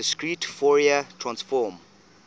discrete fourier transform